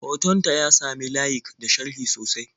Hoton ta ya sami layik da sharhi sosai.